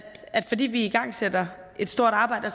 fordi vi igangsætter et stort arbejde